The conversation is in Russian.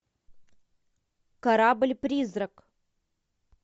корабль призрак